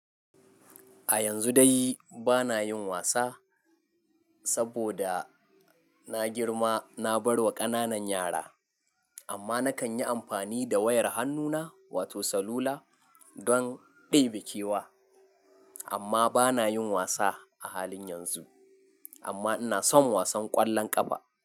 A yanzu dai bana yin wasa saboda na girma na barwa kananan yara, amma nakanyi amfani da wayar hannuna wato salula don ɗebe kewa. Amma bana yin wasa a halin yanzu amma inason wasan ƙwallon ƙafa.